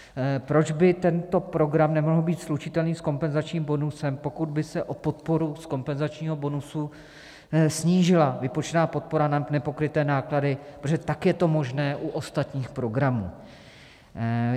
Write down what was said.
Proč by tento program nemohl být slučitelný s kompenzačním bonusem, pokud by se o podporu z kompenzačního bonusu snížila vypočítaná podpora na nepokryté náklady, protože tak je to možné u ostatních programů?